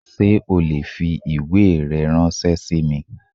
Sé o le fi ìwé rẹ ránsé sí mi?